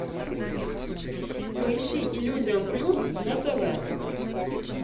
поищи иллюзион плюс на тв